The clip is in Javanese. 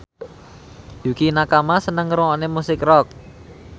Yukie Nakama seneng ngrungokne musik rock